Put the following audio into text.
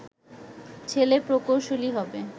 ছেলে প্রকৌশলী হবে